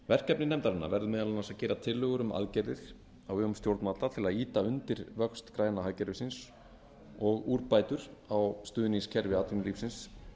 verkefni nefndarinnar verður meðal annars gera tillögur um aðgerðir á vegum stjórnvalda til að ýta undir vöxt græna hagkerfisins og úrbætur á stuðningskerfi atvinnulífsins